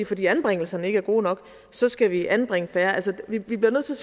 fordi anbringelserne ikke er gode nok så skal vi anbringe færre vi bliver nødt til